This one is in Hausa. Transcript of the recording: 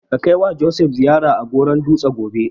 Ka kaiwa Joseph ziyara a Goron dutse gobe.